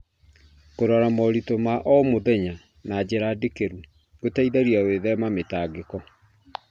Kũrora moritũ ma o mũthenya na njĩra ndikĩru gũteithagia gwĩthema mĩtangĩko.